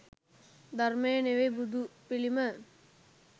ධර්මය නෙවෙයි බුදු පිළිම.